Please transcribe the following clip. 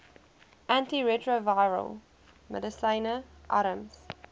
antiretrovirale medisyne arms